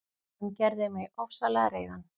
Hann gerði mig ofsalega reiðan.